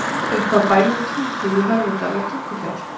Upp af bænum Tungu í Hörðudal er Tungufjall.